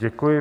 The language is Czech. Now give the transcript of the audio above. Děkuji.